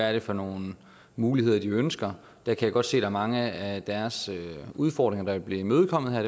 er for nogle muligheder de ønsker jeg kan godt se der er mange af deres udfordringer der vil blive imødekommet her